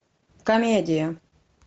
комедия